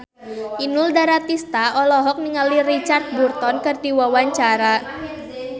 Inul Daratista olohok ningali Richard Burton keur diwawancara